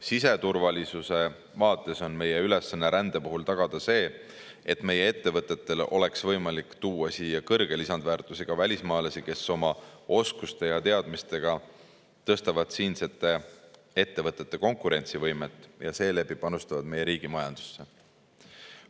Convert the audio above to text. Siseturvalisuse vaates on meie ülesanne rände puhul tagada see, et meie ettevõtetel oleks võimalik tuua siia kõrget lisandväärtust loovaid välismaalasi, kes oma oskuste ja teadmistega tõstavad siinsete ettevõtete konkurentsivõimet ja seeläbi panustavad meie riigi majandusse.